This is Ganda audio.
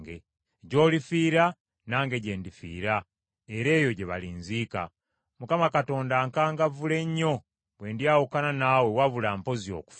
Gy’olifiira nange gye ndifiira era eyo gye balinziika. Mukama Katonda ankangavvule nnyo bwe ndyawukana naawe wabula mpozi okufa.”